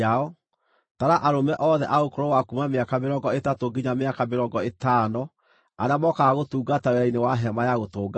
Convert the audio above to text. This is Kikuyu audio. Tara arũme othe a ũkũrũ wa kuuma mĩaka mĩrongo ĩtatũ nginya mĩaka mĩrongo ĩtano arĩa mokaga gũtungata wĩra-inĩ wa Hema-ya-Gũtũnganwo.